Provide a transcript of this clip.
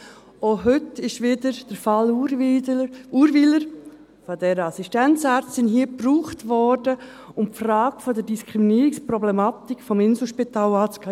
Auch heute ist hier wieder der Fall Urwyler, dieser Assistenzärztin, gebraucht worden, um die Frage der Diskriminierungsproblematik des Inselspitals anzugehen.